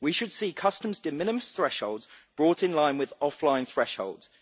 We should see customs de minimis thresholds brought in line with offline thresholds.